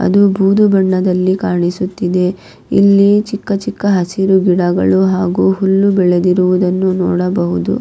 ಅದು ಬೂದು ಬಣ್ಣದಲ್ಲಿ ಕಾಣಿಸುತ್ತಿದೆ ಇಲ್ಲಿ ಚಿಕ್ಕ ಚಿಕ್ಕ ಹಸಿರು ಗಿಡಗಳು ಹಾಗು ಹುಲ್ಲು ಬೆಳೆದಿರುವುದನ್ನು ನೋಡಬಹುದು.